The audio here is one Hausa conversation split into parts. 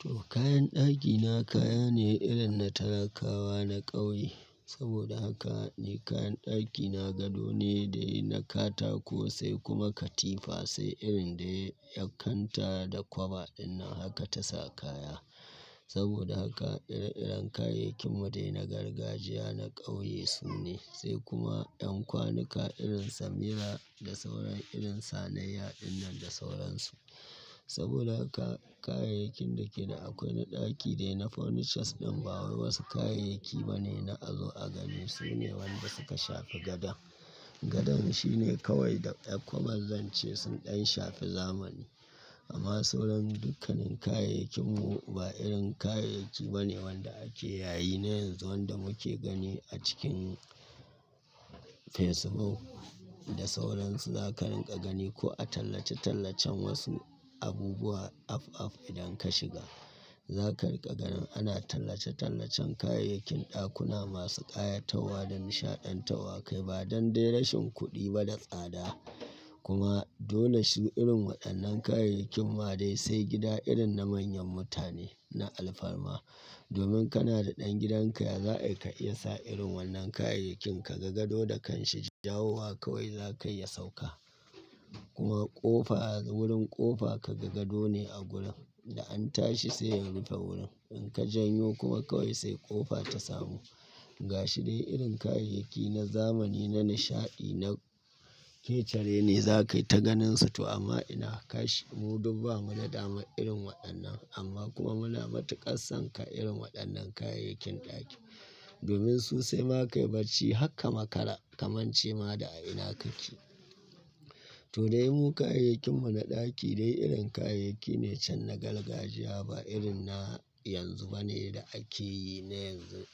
To, kayan ɗakina kaya ne irin na talakawa na ƙauye. Saboda haka ni kayan ɗakina gado ne dai na katako sai kuma katifa, sai irin dai yar kanta da kwaba din nan haka ta sa kaya. Saboda haka ire-iren kayayyakin mu dai na gargajiya na ƙauye su ne, sai kuma ƴan kwanuka irin samira da sauran irin sanayya dinnan nan da sauransu. Saboda haka kayayyakin da ke da akwai na ɗaki dai na furnitures ɗin ba wai wasu kayayyaki bane na a zo a gani, su ne wanda suka shafi gadon. Gadon shi ne kawai da ƴar kwabar zan ce sun ɗan shafi zamani. Amma sauran dukkanin kayayyakin mu ba irin kayayyaki bane wanda ake yayi na yanzu wanda muke gani a cikin Facebook da sauran su. Za ka rinƙa gani ko a tallace-tallacen wasu abubuwa af af idan ka shiga. Za ka rinƙa ganin ana tallace-tallacen kayayyakin ɗakuna masu ƙayatarwa da nishaɗantarwa kai ba dan dai rashin kuɗi ba da tsada. Kuma dole shi irin waɗannan kayayyakin ma dai sai gida irin na manyan mutane na alfarma. Domin kana da ɗan gidan ka, ya za'a yi ka iya sa irin wannan kayayyakin ka ga gado da kanshi, jawowa kawai za ka yi ya sauka. Kuma ƙofa wurin ƙofa ka ga gado ne a gurin da an tashi sai ya rufe wurin. In ka janyo kuma kawai sai ƙofa ta samu. Ga shi dai irin kayayyaki na zamani na nishaɗi na kece raini za ka yi ta ganinsu to amma ina, kash! Mu duk ba mu na dama irin waɗannan amma kuma muna matuƙassan ka irin waɗannan kayayyakin ɗaki. Domin su sai ma kai bacci har ka makara, ka mance ma da a ina kake. To dai mu kayayyakin mu na ɗaki dai irin kayayyaki ne can na gargajiya ba irin na yanzu bane da ake yi na yanzu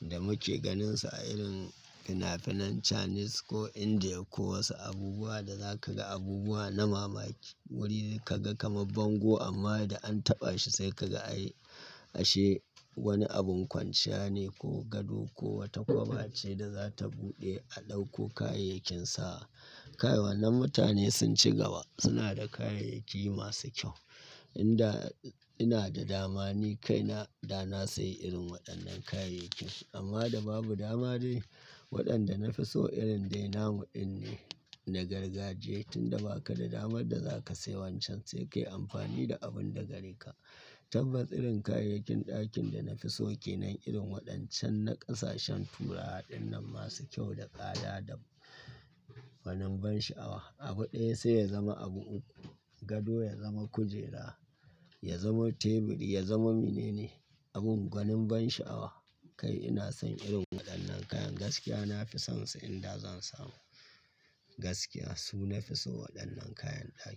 da muke ganinsu a irin fina-finan Chinese ko India ko wasu abubuwa da za ka ga abubuwa na mamaki. Wuri ka ga kamar bango amma da an taɓa shi sai ka ga ashe wani abun kwanciya ne ko gado ko wata kwaba ce da za ta buɗe a ɗauko kayayyakin sa. Kai wannan mutane sun ci gaba suna da kayayyaki masu kyau. In da ina da dama ni kaina da na sai irin waɗannan kayayyakin amma da babu dama dai waɗanda na fi so irin dai namu ɗin ne na gargajiya. Tunda baka da damar da za ka sai wancan sai ka yi amfani da abun da gare ka. Tabbas irin kayayyakin ɗakin da na fi so kenan irin waɗancan na ƙasashen turawa ɗin nan masu kyau da tsada da gwanin ban sha'awa. Abu ɗaya sai ya zama abu uku. Gado ya zama kujera, ya zama teburi, ya zama menene abin gwanin ban sha'awa. Kai ina son irin waɗannan kayan gaskiya na fi son su in da zan samu gaskiya su na fi so waɗannan kayan ɗaki.